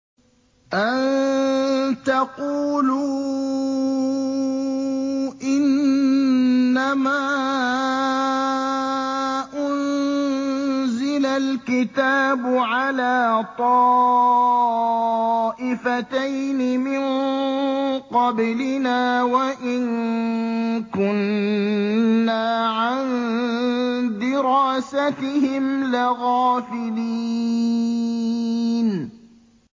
أَن تَقُولُوا إِنَّمَا أُنزِلَ الْكِتَابُ عَلَىٰ طَائِفَتَيْنِ مِن قَبْلِنَا وَإِن كُنَّا عَن دِرَاسَتِهِمْ لَغَافِلِينَ